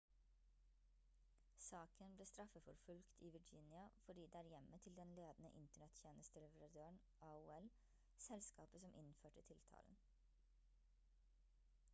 saken ble straffeforfulgt i virginia fordi det er hjemmet til den ledende internett-tjenesteleverandøren aol selskapet som innførte tiltalen